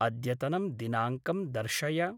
अद्यतनं दिनाङ्कं दर्शय।